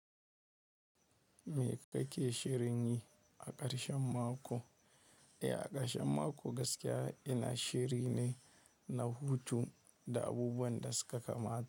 Me kake shirinyi a ƙarshen mako? Eh, a ƙarshen mako gaskiya ina shirine na hutu da abubuwan da suka kamata.